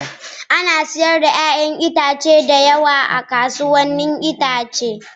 Ana sayar da 'ya'yan itatuwa da yawa a kasuwannin 'ya'yan itace.